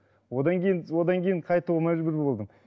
одан кейін одан кейін қайтуға мәжбүр болдым